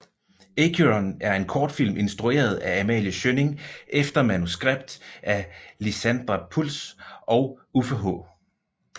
Acheron er en kortfilm instrueret af Amalie Schjønning efter manuskript af Lizandra Pultz og Uffe H